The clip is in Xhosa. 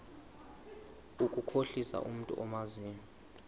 ukukhohlisa umntu omazi